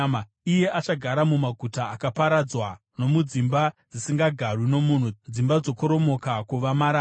iye achagara mumaguta akaparadzwa nomudzimba dzisingagarwi nomunhu, dzimba dzokoromoka kuva marara.